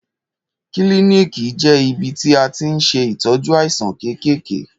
Kílìníkì jẹ ìbítì à tiń sẹ ìtọjú àisán kẹkẹkẹ.